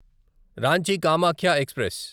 Ranchi Kamakhya express